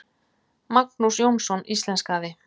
Magnús Jónsson íslenskaði.